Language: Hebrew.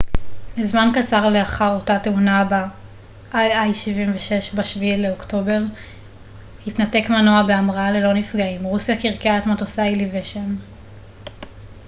ב-7 באוקטובר התנתק מנוע בהמראה ללא נפגעים רוסיה קרקעה את מטוסי האיליושין il-76 לזמן קצר לאחר אותה תאונה